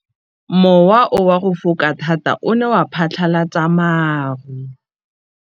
Mowa o wa go foka tota o ne wa phatlalatsa maru.